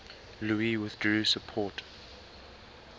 louis withdrew support